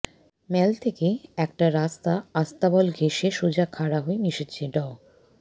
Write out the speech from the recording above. ম্যাল থেকে একটা রাস্তা আস্তাবল ঘেঁষে সোজা খাড়া হয়ে মিশেছে ড